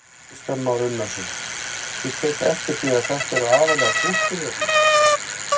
Kristján Már Unnarsson: Ég tek eftir því að þetta eru aðallega stúlkur hérna?